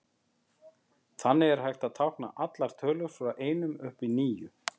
Þannig er hægt að tákna allar tölur frá einum upp í níu.